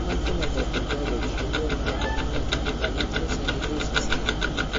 Human Phenotype Ontology kokonu kabarunoikab Galactosialidosis cherube.